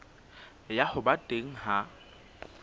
ya ho ba teng ha